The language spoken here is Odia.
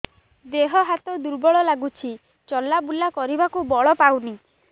ଦେହ ହାତ ଦୁର୍ବଳ ଲାଗୁଛି ଚଲାବୁଲା କରିବାକୁ ବଳ ପାଉନି